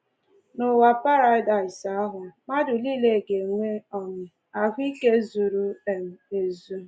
N’ụwa Paradaịs ahụ, mmadụ nile ga-enwe um ahụ ike zuru um ezu